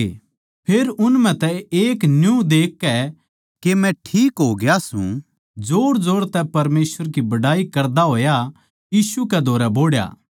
फेर उन म्ह तै एक न्यू देखकै के मै ठीक होग्या सूं जोरजोर तै परमेसवर की बड़ाई करदा होया यीशु कै धोरै बोहड़या